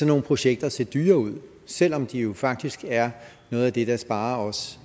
nogle projekter se dyre ud selv om de faktisk er noget af det der sparer os